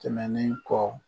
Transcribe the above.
Tɛmɛnen kɔ